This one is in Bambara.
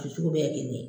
sugu bɛɛ ye kelen ye